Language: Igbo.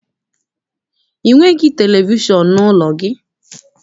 I nwere televishọn n'ụlọ gị?